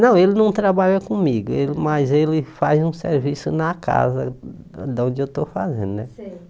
Não, ele não trabalha comigo, ele mas ele faz um serviço na casa de onde eu estou fazendo, né? Sei